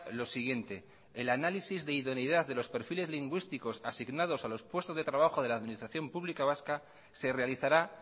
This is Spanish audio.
lo siguiente el análisis de idoneidad de los perfiles lingüísticos asignados a los puestos de trabajo de la administración pública vasca se realizará